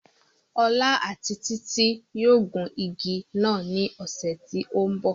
Ọlá àti títí yóò gun igi náà ní ọ̀sẹ̀ tí ó ń bọ̀